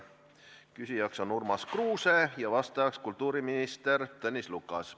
Küsija on Urmas Kruuse, vastaja kultuuriminister Tõnis Lukas.